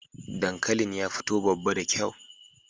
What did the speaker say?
Dankalin ya fito babba da kyau.